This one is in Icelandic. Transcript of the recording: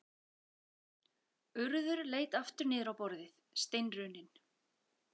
Urður leit aftur niður á borðið, steinrunnin.